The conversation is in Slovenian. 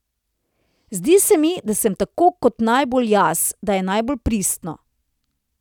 Zdi se mi, da sem tako to najbolj jaz, da je najbolj pristno.